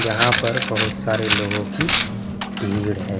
यहाँ पर बहुत सारे लोगों की भीड़ है।